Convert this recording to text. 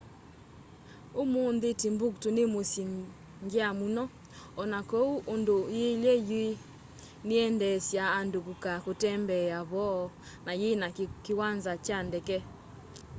umũnthĩ timbuktu nĩ mũsyĩ ngya mũno ona koũ ũndũ yĩĩlye yũ nĩyendeeasya andũ kũka kũtembea vo na yĩna kĩwanza kya ndeke